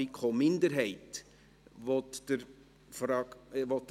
Ich erteile ihm das Wort.